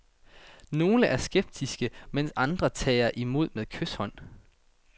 Nogle er skeptiske, mens andre tager imod med kyshånd.